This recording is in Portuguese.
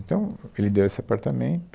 Então, ele deu esse apartamento.